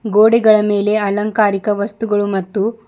ಗೋಡೆಗಳ ಮೇಲೆ ಅಲಂಕಾರಿಕ ವಸ್ತುಗಳು ಮತ್ತು--